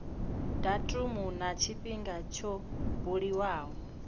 datumu na tshifhinga tsho buliwaho